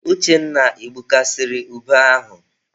Uchenna, I gbukasiri ube ahụ?